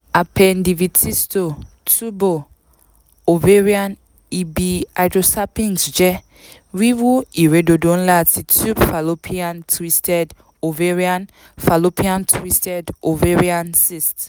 appendivitisto tubo-oavarian ibi-hydrosalpinx jẹ wiwu iredodo nla ti tube fallopian twisted ovarian fallopian twisted ovarian cyst